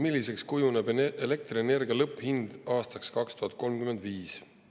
Milliseks kujuneb elektrienergia lõpphind aastaks 2035?